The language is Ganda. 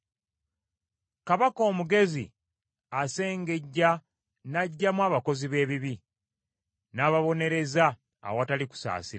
Kabaka omugezi asengejja n’aggyamu abakozi b’ebibi, n’ababonereza awatali kusaasira.